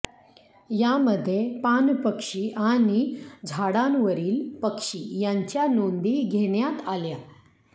यामध्ये पाणपक्षी आणि झाडांवरील पक्षी यांच्या नोंदी घेण्यात आल्या